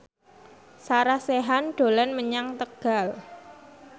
Sarah Sechan dolan menyang Tegal